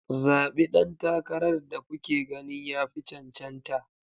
Zaɓi ɗan takarar da kuke ganin ya fi cancanta